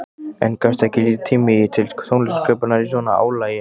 En gefst ekki lítill tími til tónlistarsköpunar í svona álagi?